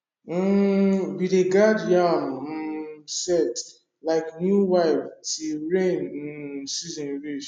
um we dey guard yam um sett like new wife till rain um season reach